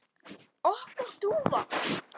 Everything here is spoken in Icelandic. Okkar dúfa?